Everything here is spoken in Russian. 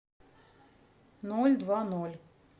ноль два ноль